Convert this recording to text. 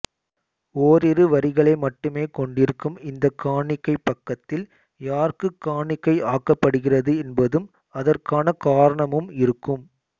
ஓரிரு வரிகளை மட்டுமே கொண்டிருக்கும் இந்தக் காணிக்கைப் பக்கத்தில் யாருக்குக் காணிக்கை ஆக்கப்படுகிறது என்பதும் அதற்கான காரணமும் இருக்கும்